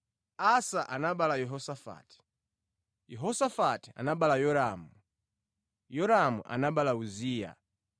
Asa anabereka Yehosafati, Yehosafati anabereka Yoramu, Yoramu anabereka Uziya.